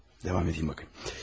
Davam edim baxım.